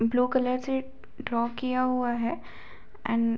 blue colour से draw किया हुआ है एंड --